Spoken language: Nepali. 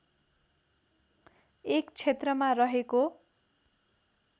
एक क्षेत्रमा रहेको